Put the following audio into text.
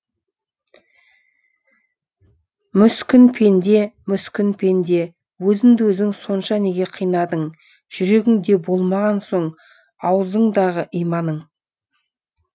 мүскін пенде мүскін пенде өзіңді өзің сонша неге қинадың жүрегіңде болмаған соң аузыңдағы иманың